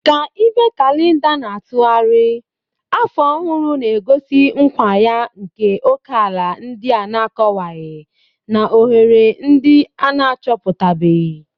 Ka ibe kalenda na-atụgharị, afọ ọhụrụ na-egosi nkwa ya nke ókèala ndị a na-akọwaghị na ohere ndị a na-achọpụtabeghị